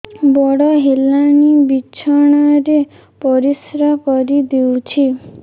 ବଡ଼ ହେଲାଣି ବିଛଣା ରେ ପରିସ୍ରା କରିଦେଉଛି